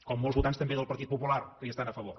com molts votants també del partit popular que hi estan a favor